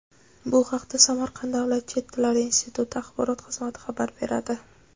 Bu haqda Samarqand davlat chet tillar instituti Axborot xizmati xabar beradi.